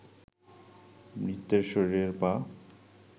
মৃতের শরীরের পা